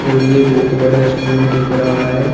और ये बहोत बड़ा स्कूल दिख रहा है।